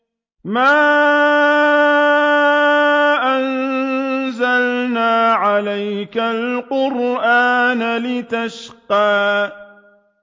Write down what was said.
مَا أَنزَلْنَا عَلَيْكَ الْقُرْآنَ لِتَشْقَىٰ